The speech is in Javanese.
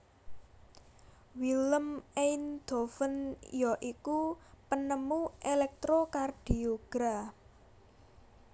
Willem Einthoven ya iku penemu Electrocardiogra